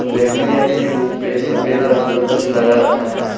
व्यक्ति ने अपने मुंह पे सफेद रंग का कुछ लगा रखा है।